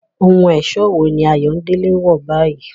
Ohun ẹ̀ṣọ́ wo ni Ayodele ń wọ̀ báyìí?